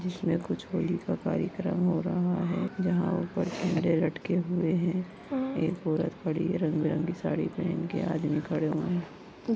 जिसमे कुछ होली का कार्यक्रम हो रहा है जहाँ ऊपर कैमरे लटके हुए है हा एक औरत खड़ी है रंग-बिरंगी साड़ी पहन के आदमी खड़े हुए है ।